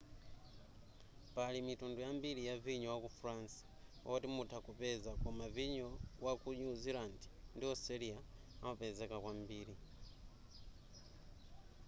pali mitundu yambiri ya vinyo wa ku france oti mutha kupeza koma vinyo waku new zealand ndi australia amapezeka kwambiri